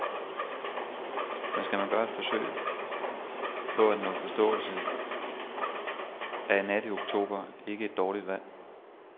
Men skal man gøre et forsøg på at nå til forståelse er en nat i oktober ikke et dårligt valg.